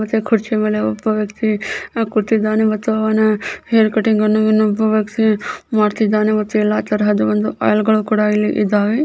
ಮತ್ತೆ ಕುರ್ಚಿ ಮೇಲೆ ಒಬ್ಬ ವ್ಯಕ್ತಿ ಕೂತಿದ್ದಾನೆ ಮತ್ತು ಅವನ ಹೇರ್ ಕಟಿಂಗ್ ಅಣು ಇನೊಬ ವ್ಯಕ್ತಿ ಮಾಡುತ್ತಿದಾನೆ ಮತು ಎಲ್ಲ ತರಹದ ಒಂದು ಅಲ್ಲಗಳು ಕೂಡ ಇದಾವೆ.